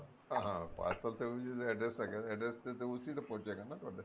ਹਾਂ parcel ਤੇ ਉਹੀਓ ਜਿਹੜਾ address ਹੈ ਨਾ address ਤੇ ਤਾਂ ਉਸੀ ਤੇ ਪਹੁੰਚ ਜਾਏਗਾ ਨਾ ਤੁਹਾਡਾ